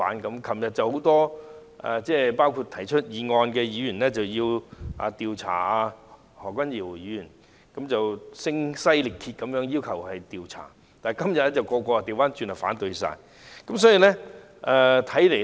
昨天很多議員，包括動議議案的議員要求調查何君堯議員，而且是聲嘶力竭地要求調查，但他們今天卻反過來反對進行調查。